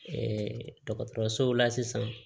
dɔgɔtɔrɔsow la sisan